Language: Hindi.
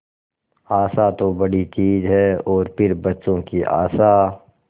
आशा तो बड़ी चीज है और फिर बच्चों की आशा